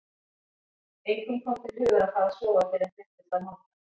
Engum kom til hugar að fara að sofa fyrr en fréttist af Manga.